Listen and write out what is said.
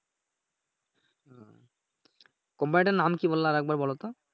কোম্পানিটার নাম কি বললা আর একবার বলোতো?